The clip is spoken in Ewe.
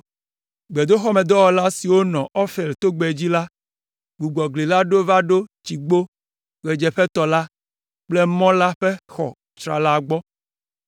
Gbedoxɔmedɔwɔla siwo nɔ Ofel togbɛ dzi la, gbugbɔ gli la ɖo va ɖo Tsigbo ɣedzeƒetɔ la kple mɔ la ƒe xɔ tsrala gbɔ.